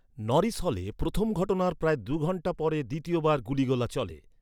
Norris হলে প্রথম ঘটনার প্রায় দু’ঘণ্টা পরে দ্বিতীয় বার গুলিগোলা চলে।